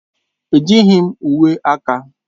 Ejighị m uwe aka.